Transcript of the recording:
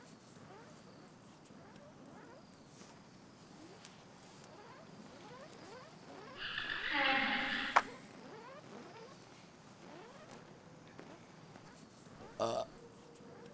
কারণ আপনি তো মানে একজন মহিলাও, আপনার তো একটু কালার ভ্যারিয়েশন থাকতেই পারে বিভিন্ন কালারের যেটা ভালো লাগবে হ্যাঁ হ্যাঁ ওইটাই নেবেন আমার আমি বলবো আপনি আকাশি কালারটাই নিন, তো ওটার জন্য আপনি যদি একটু পরশু দিন আসতে